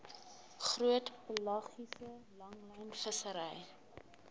groot pelagiese langlynvissery